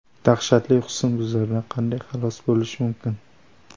Dahshatli husnbuzardan qanday xalos bo‘lish mumkin?.